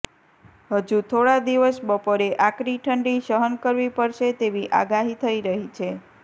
હજુ થોડા દિવસ બપોરે આકરી ઠંડી સહન કરવી પડશે તેવી આગાહી થઈ રહી છે